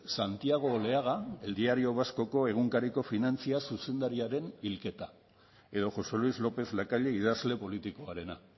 santiago oleaga el diario vasco egunkariko finantzia zuzendariaren hilketa edo josé luis lópez lacalle idazle politikoarena